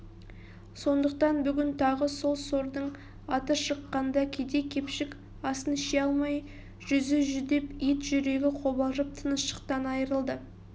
сондықтан бүгін тағы сол сордың аты шыққанда кедей-кепшік асын іше алмай жүзі жүдеп ет-жүрегі қобалжып тыныштықтан айырылды